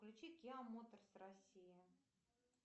включи киа моторс россия